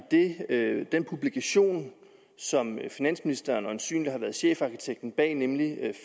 den publikation som finansministeren øjensynlig har været chefarkitekten bag nemlig